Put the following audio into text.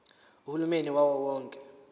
uhulumeni wawo wonke